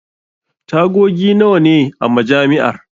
Tagogi nawa ne a Majami'ar?